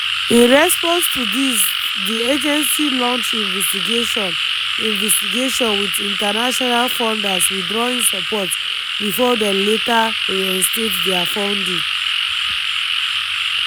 in response to dis di agency launch investigation - investigation - wit international funders withdrawing support bifor dem later reinstate dia funding.